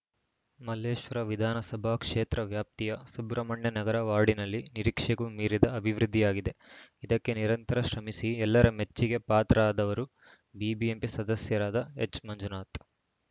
ಮಲ್ಲೇಶ್ವರ ವಿಧಾನಸಭಾ ಕ್ಷೇತ್ರ ವ್ಯಾಪ್ತಿಯ ಸುಬ್ರಹ್ಮಣ್ಯನಗರ ವಾರ್ಡಿನಲ್ಲಿ ನಿರೀಕ್ಷೆಗೂ ಮೀರಿದ ಅಭಿವೃದ್ಧಿಯಾಗಿದೆ ಇದಕ್ಕೆ ನಿರಂತರ ಶ್ರಮಿಸಿ ಎಲ್ಲರ ಮೆಚ್ಚಿಗೆ ಪಾತ್ರರಾದವರು ಬಿಬಿಎಂಪಿ ಸದಸ್ಯರಾದ ಎಚ್‌ಮಂಜುನಾಥ್‌